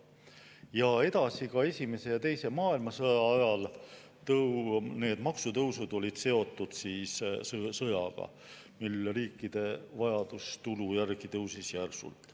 Ja edasi ka esimese ja teise maailmasõja ajal need maksutõusud olid seotud sõjaga, mil riikide vajadus tulu järele tõusis järsult.